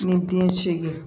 Ni den segin